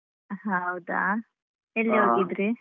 ಹ ಹೌದಾ ಎಲ್ಲಿ ಹೋಗಿದ್ರಿ?